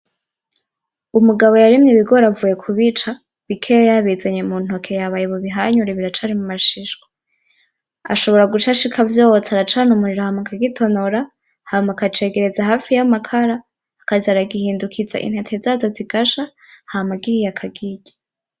Umugabo yarimye ibigori avuye kubica, bikeya yabizanye mu ntoke yabaye bu bihanyure biracari mu mashishwa ashobora guca ashika avyotsa aracana umuriro hama akagitonora hama akacegereza hafi y'amakara akaza aragihindukiza intete zazo zigasha hama gihiye akakirya.